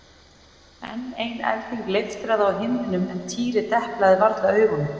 Enn ein elding leiftraði á himninum en Týri deplaði varla augunum.